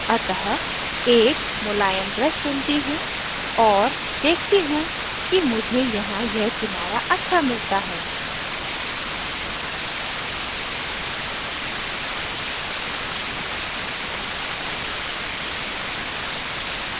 अतः एक मुलायम brush चुनती choose और देखती choose कि मुझे यहाँ यह किनारा अच्छा मिलता है